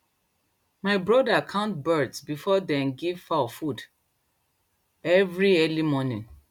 my brother count birds before dem give fowl food every early morning